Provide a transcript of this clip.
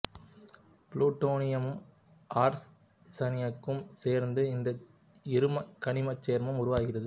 புளுட்டோனியமும் ஆர்சனிக்கும் சேர்ந்து இந்த இரும கனிமச் சேர்மம் உருவாகிறது